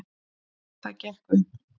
Það gekk upp